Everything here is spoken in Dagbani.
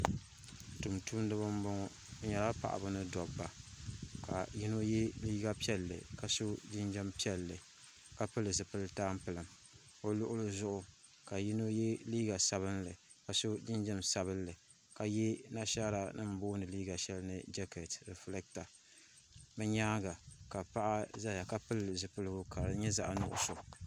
Tumtumdiba m boŋɔ bɛ nyɛla paɣaba ni dobba ka yino ye liiga piɛlli ka so jinjiɛm piɛlli ka pili zipil'tampilim o luɣuli zuɣu ka yino ye liiga sabinli ka so jinjiɛm sabinli ka ye nashaara nima booni liiga sheli ni jaketi rifilata bɛ nyaanga ka paɣa zaya ka pili zipiligu ka di nyɛ zaɣa nuɣuso.